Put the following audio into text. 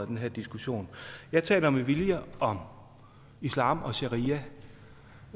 den her diskussion jeg taler med vilje om islam og sharia